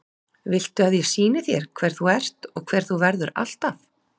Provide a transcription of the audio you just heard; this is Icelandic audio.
Viltu að ég sýni þér hver þú ert og hver þú verður alltaf?